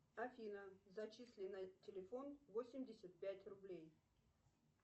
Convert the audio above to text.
афина зачисли на телефон восемьдесят пять рублей